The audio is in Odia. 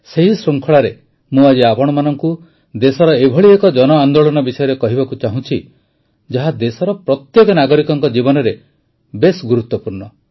ସେହି ଶୃଙ୍ଖଳାରେ ମୁଁ ଆଜି ଆପଣମାନଙ୍କୁ ଦେଶର ଏଭଳି ଏକ ଜନ ଆନ୍ଦୋଳନ ବିଷୟରେ କହିବାକୁ ଚାହୁଁଛି ଯାହାର ଦେଶର ପ୍ରତ୍ୟେକ ନାଗରିକଙ୍କ ଜୀବନରେ ବହୁତ ଗୁରୁତ୍ୱ ରହିଛି